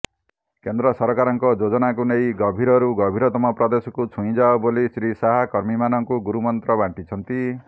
କେନ୍ଦ୍ର ସରକାରଙ୍କ ଯୋଜନାକୁ ନେଇ ଗଭୀରରୁ ଗଭୀରତମ ପ୍ରଦେଶକୁ ଛୁଇଁଯାଅ ବୋଲି ଶ୍ରୀ ଶାହା କର୍ମୀମାନଙ୍କୁ ଗୁରୁମନ୍ତ୍ର ବାଣ୍ଟିଛନ୍ତି